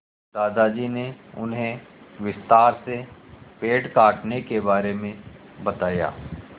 दादाजी ने उन्हें विस्तार से पेड़ काटने के बारे में बताया